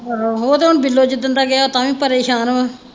ਆਹੋ ਉਹ ਤੇ ਹੁਣ ਬਿੱਲੋ ਜਿਸ ਦਿਨ ਗਿਆ ਉਹ ਤਾਂ ਵੀ ਪਰੇਸ਼ਾਨ ਹੈ।